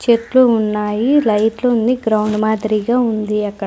చెట్లు ఉన్నాయి లైట్లు ఉంది గ్రౌండ్ మాదిరిగా ఉంది అక్కడ.